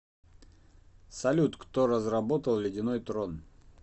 салют кто разработал ледяной трон